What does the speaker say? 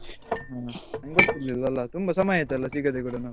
ಹ್ಮ್ ನಂಗೆ ಗೊತ್ತಿರ್ಲಿಲ್ಲ ಅಲ್ಲ ತುಂಬಾ ಸಮಯ ಆಯ್ತಲ್ಲಾ ಸಿಗದೆ ಕೂಡ ನಾವು.